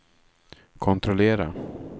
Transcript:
kontrollera